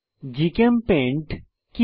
GChemPaint কি